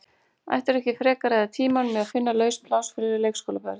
Ættirðu ekki frekar að eyða tímanum í að finna laus pláss fyrir leikskólabörn?